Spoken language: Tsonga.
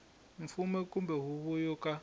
mfumo kumbe huvo yo ka